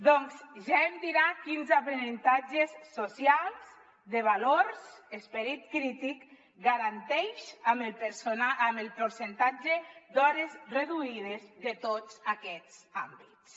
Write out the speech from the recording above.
doncs ja em dirà quins aprenentatges socials de valors esperit crític ga·ranteix amb el percentatge d’hores reduïdes de tots aquests àmbits